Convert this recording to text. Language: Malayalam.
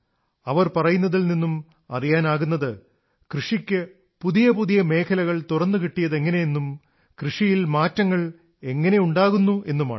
അവർ പറയുന്നതിൽ നിന്നും അറിയാനാകുന്നത് കൃഷിയ്ക്ക് പുതിയ പുതിയ മേഖലകൾ തുറന്നുകിട്ടിയതെങ്ങനെയെന്നും കൃഷിയിൽ മാറ്റങ്ങൾ എങ്ങനെയുണ്ടാകുന്നു എന്നുമാണ്